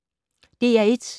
DR1